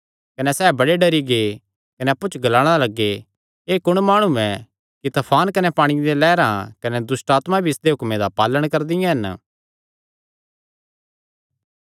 कने सैह़ बड़े डरी गै कने अप्पु च ग्लाणा लग्गे एह़ कुण माणु ऐ कि तफान कने पांणिये दियां लैहरां कने दुष्टआत्मां भी इसदे हुक्मे दा पालण करदे हन